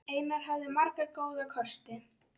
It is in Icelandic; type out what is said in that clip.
Einar hafði marga góða kosti.